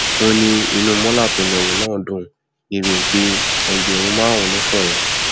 ó ní inú mọla tó lẹrú náà dùn débii pé ẹgbẹrún márùnún ló fóun